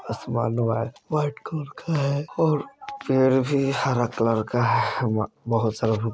आसमान white colour का है और पेड़ भी हर कलर का है बहुत सारा |